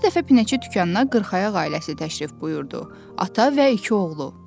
Bir dəfə pinəçi dükanına qırxayaq ailəsi təşrif buyurdu: ata və iki oğlu.